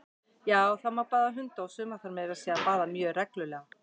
Já, það má baða hunda, og suma þarf meira að segja að baða mjög reglulega!